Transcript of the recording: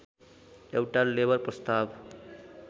एउटा लेबर प्रस्ताव